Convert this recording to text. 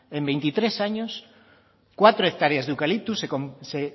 en veintitrés años cuatro hectáreas de eucalipto se